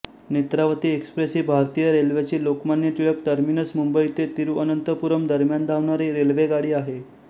Netravati express ही भारतीय रेल्वेची लोकमान्य टिळक टर्मिनस मुंबई ते तिरुअनंतपुरम दरम्यान धावणारी रेल्वेगाडी आहे